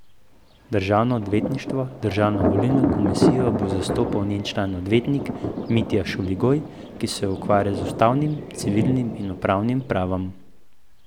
Državno odvetništvo Državno volilno komisijo bo zastopal njen član odvetnik Mitja Šuligoj, ki se ukvarja z ustavnim, civilnim in upravnim pravom.